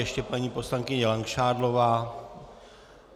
Ještě paní poslankyně Langšádlová.